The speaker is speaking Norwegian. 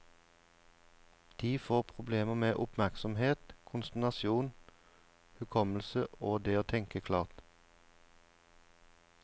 De får problemer med oppmerksomhet, konsentrasjon, hukommelse og det å tenke klart.